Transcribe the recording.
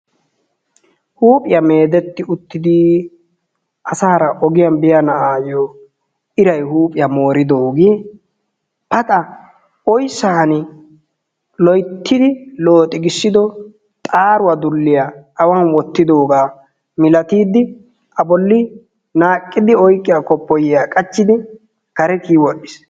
Huuphiya meedetti uttidi asaara ogiyan biya na"aayyo irayi huuohiya mooridoogee paxa oyssan loyttidi looxigissido xaaruwa dulliya awan wottidoogaa milatiiddi a bolli naaqqidi oyqqiya koppiyyiya qachchidi kare kiyi wodhdhis.